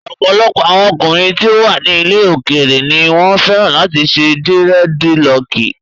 Ọ̀pọ̀lọpọ̀ àwọn ọkùnrin tí ó wà ní ilẹ̀ òkèèrè ni wọ́n fẹ́ràn láti ṣe dírẹ́dilọọkì.